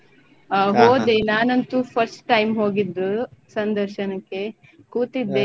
ಹ ಹೋದೆ ನಾನಂತೂ first time ಹೋಗಿದ್ದು ಸಂದರ್ಶನಕ್ಕೆ ಕೂತಿದ್ದೆ.